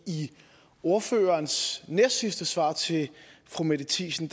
i ordførerens næstsidste svar til fru mette thiesen